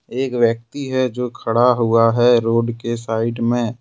एक व्यक्ति है जो खड़ा हुआ है रोड के साइड में।